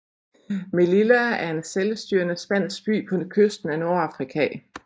Melilla er en selvstyrende spansk by på kysten af Nordafrika